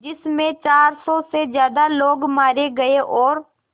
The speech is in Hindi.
जिस में चार सौ से ज़्यादा लोग मारे गए और